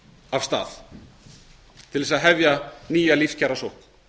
af stað til þess að hefja nýja lífskjarasókn